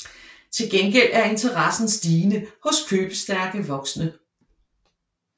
Til gengæld er interessen stigende hos købestærke voksne